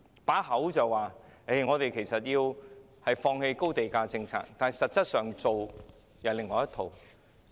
儘管口口聲聲說要放棄高地價政策，但所做的卻是另外一套。